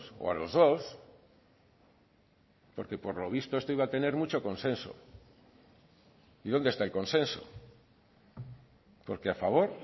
o a los dos porque por lo visto esto iba a tener mucho consenso y dónde está el consenso porque a favor